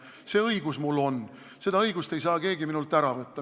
See õigus mul on, seda õigust ei saa keegi minult ära võtta.